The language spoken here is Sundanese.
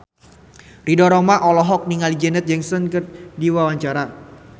Ridho Roma olohok ningali Janet Jackson keur diwawancara